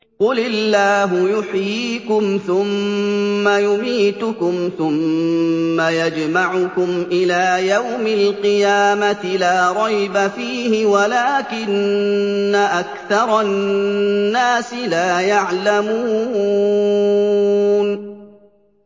قُلِ اللَّهُ يُحْيِيكُمْ ثُمَّ يُمِيتُكُمْ ثُمَّ يَجْمَعُكُمْ إِلَىٰ يَوْمِ الْقِيَامَةِ لَا رَيْبَ فِيهِ وَلَٰكِنَّ أَكْثَرَ النَّاسِ لَا يَعْلَمُونَ